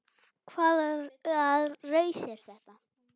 Hvaða raus er þetta?